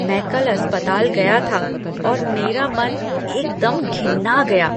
मैं कल अस्पताल गया था और मेरा मन एकदम घिना गया।